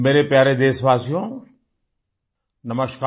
मेरे प्यारे देशवासियो नमस्कार